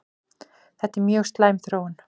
Þetta er mjög slæm þróun